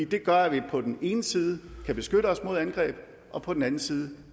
det gør at vi på den ene side kan beskytte os mod angreb og på den anden side